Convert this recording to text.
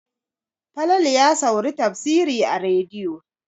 Falalu ya sauri tafsiri a rediyo.